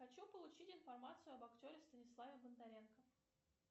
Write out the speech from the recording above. хочу получить информацию об актере станиславе бондаренко